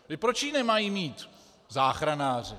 Proč ji nemají mít záchranáři?